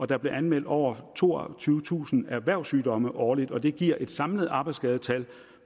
der bliver anmeldt over toogtyvetusind erhvervssygdomme årligt det giver et samlet arbejdsskadetal